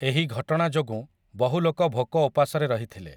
ଏହି ଘଟଣା ଯୋଗୁଁ, ବହୁ ଲୋକ ଭୋକ ଓପାସରେ ରହିଥିଲେ ।